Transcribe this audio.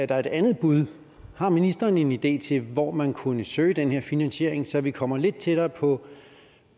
der er et andet bud har ministeren en idé til hvor man kunne søge den her finansiering så vi kommer lidt tættere på